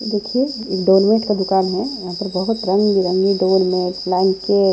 देखिए एक डोरमेट का दुकान है यहाँ पर बहुत रंग बिरंगी डोरमेट लाइम के --